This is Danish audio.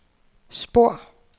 spor